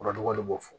Kɔrɔdɔ de b'o fɔ